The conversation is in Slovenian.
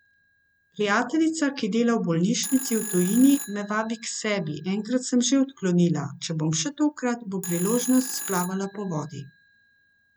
Prijateljica, ki dela v bolnišnici v tujini, me vabi k sebi, enkrat sem že odklonila, če bom še tokrat, bo priložnost splavala po vodi.